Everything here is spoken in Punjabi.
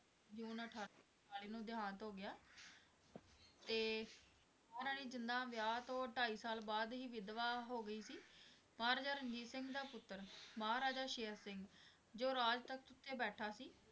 ਜੂਨ ਅਠਾਰਾਂ ਸੌ ਉਨਤਾਲੀ ਨੂੰ ਦੇਹਾਂਤ ਹੋ ਗਿਆ ਤੇ ਮਹਾਰਾਣੀ ਜਿੰਦਾਂ ਵਿਆਹ ਤੋਂ ਢਾਈ ਸਾਲ ਬਾਅਦ ਹੀ ਵਿਧਵਾ ਹੋ ਗਈ ਸੀ, ਮਹਾਰਾਜਾ ਰਣਜੀਤ ਸਿੰਘ ਦਾ ਪੁੱਤਰ ਮਹਾਰਾਜਾ ਸ਼ੇਰ ਸਿੰਘ ਜੋ ਰਾਜ ਤਖ਼ਤ ਉੱਤੇ ਬੈਠਾ ਸੀ